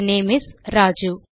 they name is Raju